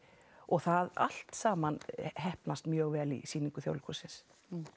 og það allt saman heppnast mjög vel í sýningu Þjóðleikhússins